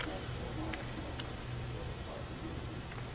пятнадцатого мая по-моему в парке муромец